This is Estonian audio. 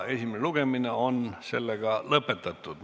Esimene lugemine on lõpetatud.